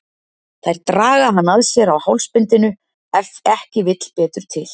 Þær draga hann að sér á hálsbindinu ef ekki vill betur til.